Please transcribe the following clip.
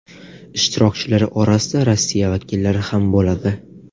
Ishtirokchilar orasida Rossiya vakillari ham bo‘ladi.